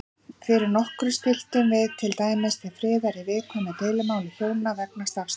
Fyrir nokkru stilltum við til dæmis til friðar í viðkvæmu deilumáli hjóna vegna stafsetningar.